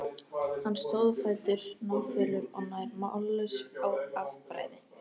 Hann stóð á fætur, náfölur og nær mállaus af bræði.